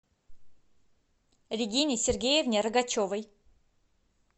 регине сергеевне рогачевой